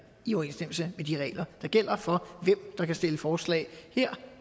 i overensstemmelse med de regler der gælder for hvem der kan stille forslag her